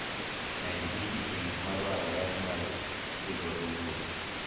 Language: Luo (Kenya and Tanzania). med gigi e gik madwarore mag dhigodo wuoth